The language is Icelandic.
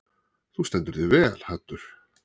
Þú stendur þig vel, Haddur!